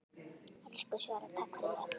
Elsku Svala, takk fyrir mig.